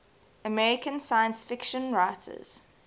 american science fiction writers